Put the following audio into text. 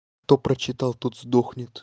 кто прочитал тот сдохнет